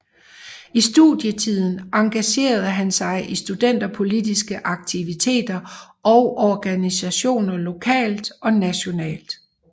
I studietiden engagerede han sig i studenterpolitiske aktiviteter og organisationer lokalt og nationalt